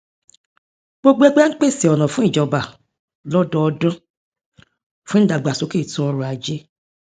gbogbo ẹgbé ń pèse ọnà fún ìjọba lọdọọdún fún ìdàgbàsókè ètò ọrọajé